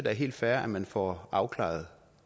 er helt fair at man får afklaret